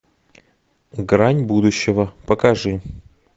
грань будущего покажи